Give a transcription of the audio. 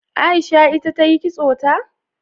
Aisha ita tayi kitso ta?